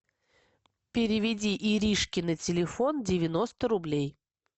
переведи иришке на телефон девяносто рублей